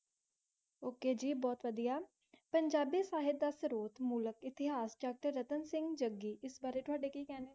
Okay ਜੀ ਬਹੁਤ ਵਧੀਆ ਪੰਜਾਬੀ ਸਹਿਤ ਦਾ ਸਰੋਤ ਮੂਲਕ ਇਤਿਹਾਸ doctor ਰਤਨ ਸਿੰਘ ਜੱਗੀ ਇਸ ਬਾਰੇ ਤੁਹਾਡੇ ਕੀ ਕਹਿਣੇ?